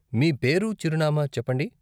మీ పేరు, చిరునామా చెప్పండి.